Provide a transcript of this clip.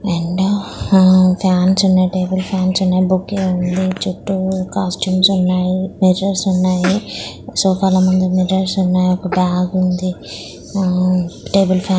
రెండు ఆ ఫ్యాన్స్ ఉన్నాయి టేబుల్ ఫ్యాన్స్ ఉన్నాయి బుక్ ఉంది చుట్టూ కస్టమ్స్ ఉన్నాయి మిర్రర్స్ ఉన్నాయి సోఫా ల ముందు మిర్రర్స్ ఉన్నాయి ఒక బాగ్ బాగుంది ఆ టేబుల్ ఫ్యాన్ --